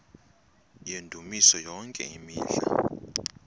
yendumiso yonke imihla